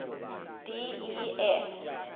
d e f